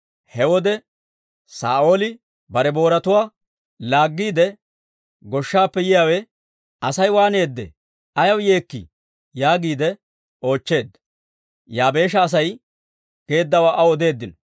He wode Saa'ooli bare booratuwaa laaggiide goshshaappe yiyaawe, «Asay waaneedee? Ayaw yeekkii?» yaagiide oochcheedda; Yaabeesha Asay geeddawaa aw odeeddino.